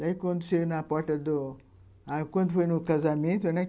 Daí, quando cheguei na porta do... Aí quando foi no casamento, né?